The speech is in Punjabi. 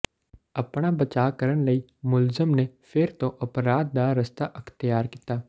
ਆਪਣਾ ਬਚਾਅ ਕਰਨ ਲਈ ਮੁਲਜ਼ਮ ਨੇ ਫਿਰ ਤੋਂ ਅਪਰਾਧ ਦਾ ਰਸਤਾ ਅਖਤਿਆਰ ਕੀਤਾ